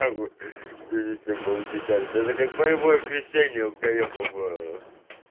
перед тем как получить это как боевое крещение кукареку